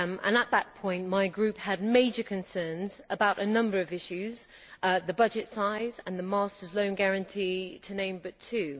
At that point my group had major concerns about a number of issues the budget size and the Master's loan guarantee, to name but two.